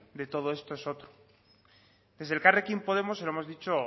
de todo esto es otro desde elkarrekin podemos se lo hemos dicho